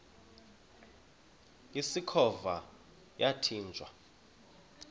usikhova yathinjw a